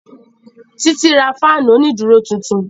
Títí ra fáànù òní dúró tuntun